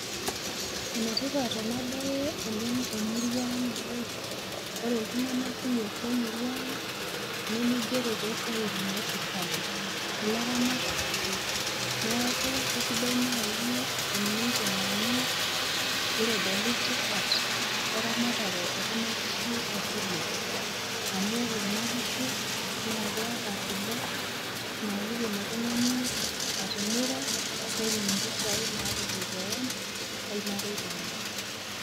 Enetipat enabae oleng temurua ang' amu, ore iltung'anak kumok lemurua ang',nimigero tosiaitin esirkali. Ilaramatak ake. Neeku kesidai naaji eniteng'eni, nitodoli tipat eramatare ekuna kishu ekule. Amu ore kuna kishu, na keeta kule, na kiidim oltung'ani atimira, netum impisai naretie keon, ormarei lenye.